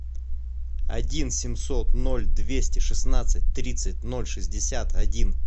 один семьсот ноль двести шестнадцать тридцать ноль шестьдесят один